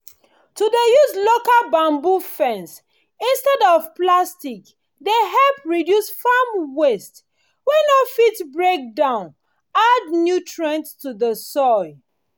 to dey use local bamboo fence instead of plastic dey help reduce farm waste wey no fit breakdown add nutrient to the soil